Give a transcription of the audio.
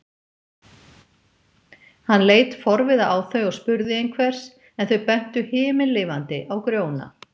Hann leit forviða á þau og spurði einhvers, en þau bentu himinlifandi á Grjóna.